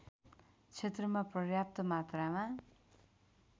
क्षेत्रमा पर्याप्त मात्रामा